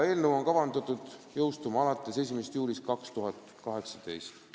Eelnõu on kavandatud jõustuma alates 1. juulist 2018.